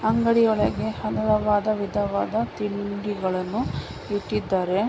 ಅಂಗಡಿ ಒಳಗೆ ಹಲವವಾದ ವಿಧವಾದ ತಿಂಡಿಗಳನ್ನು ಇಟ್ಟಿದ್ದಾರೆ .